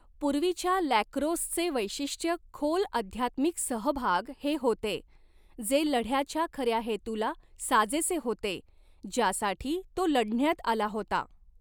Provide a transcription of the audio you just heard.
पूर्वीच्या लॅक्रोसचे वैशिष्ट्य खोल आध्यात्मिक सहभाग हे होते, जे लढ्याच्या खऱ्या हेतूला साजेसे होते ज्यासाठी तो लढण्यात आला होता.